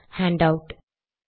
handout